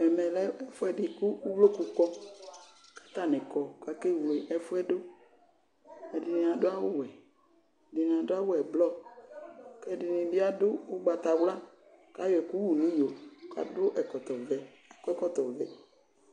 Ɛmɛ lɛ ɛfuɛdi buaku uvloku kɔ kakewle ɛfuɛ du Ɛdini aduwʊ awʊwɛ, ɛdini adʊ awʊ ɛblɔr kɛdini bi adʊ ʊgbatawla, kayɔ ɛkʊ yʊ niyo kakɔ ɛkɔtɔ vɛ